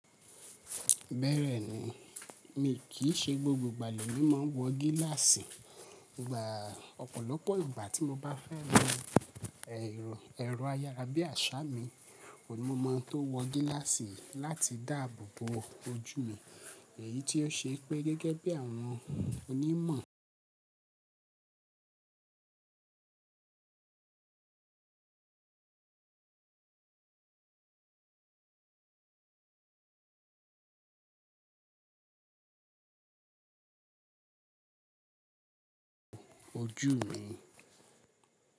Bẹ́ẹ̀rẹ̀ ni, mi kìí ṣe gbogbo ìgbà lè mi máa ń wọ gíláàsì. Ìgbà ọ̀pọ̀lọpọ̀ ìgbà tí mo bá fẹ́ lọ ẹ̀rọ ayárabíàṣá mi, òní mo máa ń tó wọ gíláàsì láti dáàbò bo ojú mi. Èyí tí ó ṣe pé gẹ́gẹ́ bí àwọn onímọ̀ oju mi.